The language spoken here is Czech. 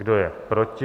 Kdo je proti?